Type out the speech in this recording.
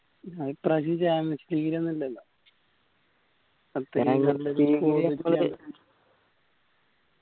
ഹാ ഇപ്രാവശ്യം championship league ഒന്നു ഇല്ലല്ലൊ